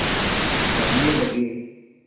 कहने लगे